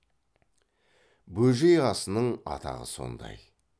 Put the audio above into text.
бөжей асының атағы сондай